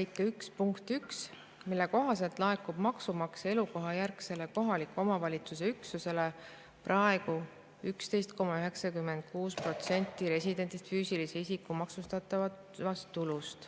1 punkti 1, mille kohaselt laekub maksumaksja elukohajärgsele kohaliku omavalitsuse üksusele praegu 11,96% residendist füüsilise isiku maksustatavast tulust.